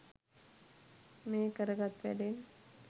මේ කර ගත් වැඩෙන්?